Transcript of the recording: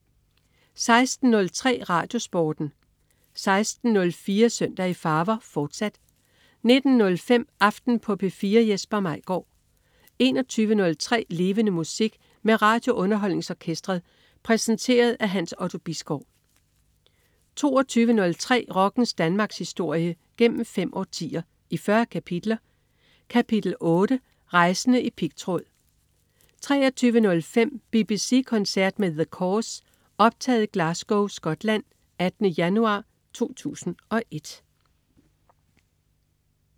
16.03 RadioSporten 16.04 Søndag i farver, fortsat 19.05 Aften på P4. Jesper Maigaard 21.03 Levende Musik. Med RadioUnderholdningsOrkestret. Præsenteret af Hans Otto Bisgaard 22.03 Rockens Danmarkshistorie, gennem fem årtier, i 40 kapitler. Kapitel 8: Rejsende i pigtråd 23.05 BBC koncert med The Corrs. Optaget i Glasgow, Scotland 18. januar 2001